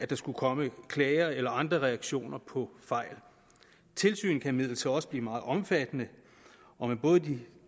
der skulle komme klager eller andre reaktioner på fejl tilsynet kan imidlertid også blive meget omfattende og med både de